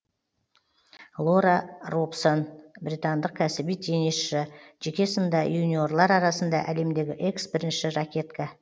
лора робсон британдық кәсіби теннисшы жеке сында юниорлар арасында әлемдегі экс бірінші ракетка